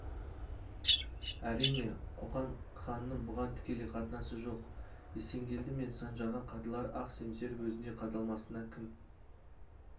әрине қоқан ханының бұған тікелей қатынасы жоқ есенгелді мен саржанға қадалар ақ семсер өзіне қадалмасына кім